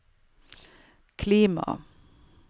klima